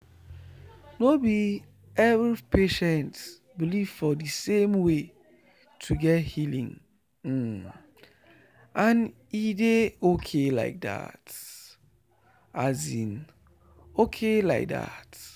no be every patient believe for the same way to get healing and e dey ok like that. ok like that.